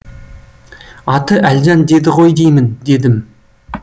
аты әлжан деді ғой деймін дедім